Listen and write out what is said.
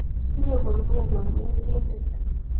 Sire komnyei konetindeni